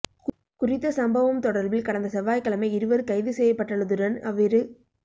குறித்த சம்பவம் தொடர்பில் கடந்த செவ்வாய்க்கிழமை இருவர் கைது செய்யப்பட்டுள்ளதுடன் அவ்விரு